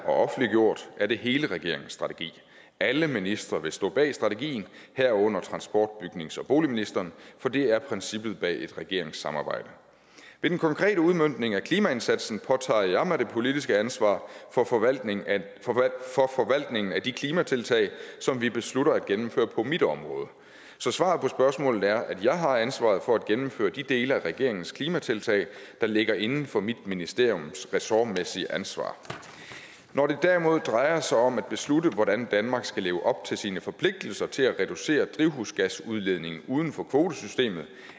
og offentliggjort er det hele regeringens strategi og alle ministre vil stå bag strategien herunder transport bygnings og boligministeren for det er princippet bag et regeringssamarbejde ved den konkrete udmøntning af klimaindsatsen påtager jeg mig det politiske ansvar for forvaltningen af de klimatiltag som vi beslutter at gennemføre på mit område så svaret på spørgsmålet er at jeg har ansvaret for at gennemføre de dele af regeringens klimatiltag der ligger inden for mit ministeriums ressortmæssige ansvar når det derimod drejer sig om at beslutte hvordan danmark skal leve op til sine forpligtelser til at reducere drivhusgasudledning uden for kvotesystemet